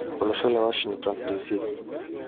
Olosho le Washingtone DC